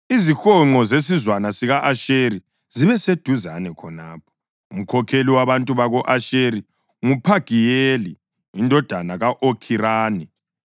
Izihonqo zesizwana sika-Asheri zibe seduzane khonapho. Umkhokheli wabantu bako-Asheri nguPhagiyeli indodana ka-Okhirani.